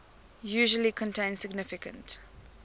usually contain significant